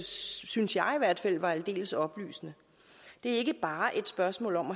synes jeg i hvert fald var aldeles oplysende det er ikke bare et spørgsmål om